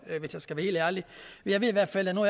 hvis jeg skal være helt ærlig jeg ved i hvert fald og nu